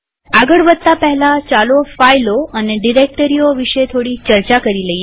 આગળ વધતા પહેલા ચાલો ફાઈલો અને ડિરેક્ટરીઓ વિશે થોડી ચર્ચા કરીએ